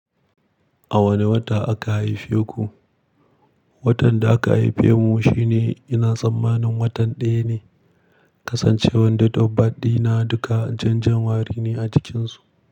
A wane wata aka haife ku? Watan da aka haife mu shine ina tsammanin watan daya ne. Kasan cewan date of birth na duka jan january ne a cikinsu.